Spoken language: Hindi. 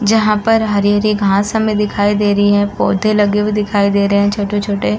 जहाँ पर हरी-हरी घास हमें दिखाई दे रही है। पौधे लगे हुए दिखाई दे रहे हैं छोटे-छोटे।